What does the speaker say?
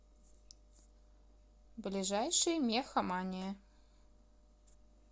ближайший мехамания